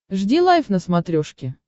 жди лайв на смотрешке